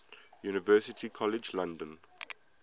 university college london